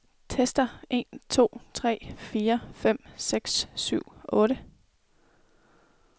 Tester en to tre fire fem seks syv otte.